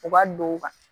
U ka don